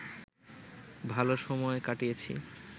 ভালো সময় কাটিয়েছি